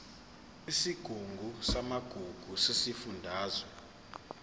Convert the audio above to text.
isigungu samagugu sesifundazwe